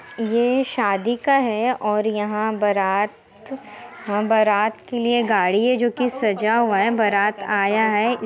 ये शादी का है और यहाँ बारात हा बारात के लिए गाड़ी है जोकि सजा हुआ है बारात आया है।